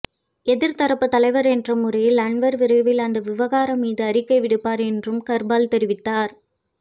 எதிர்த்தரப்புத் தலைவர் என்ற முறையில் அன்வார் விரைவில் அந்த விவகாரம் மீது அறிக்கை விடுப்பார் என்றும் கர்பால் தெரிவித்தார்